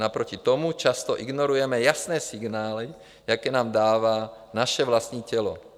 Naproti tomu často ignorujeme jasné signály, jaké nám dává naše vlastní tělo.